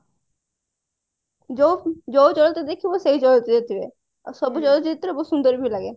ଯୋଉ ଚଳଚିତ୍ର ଦେଖିବୁ ସେଇ ଚଳଚିତ୍ର ରେ ଥିବେ ଆଉ ସବୁ ଚଳଚିତ୍ର ବହୁତ ସୁନ୍ଦର ବି ଲାଗେ